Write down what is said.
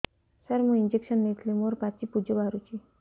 ସାର ମୁଁ ଇଂଜେକସନ ନେଇଥିଲି ମୋରୋ ପାଚି ପୂଜ ବାହାରୁଚି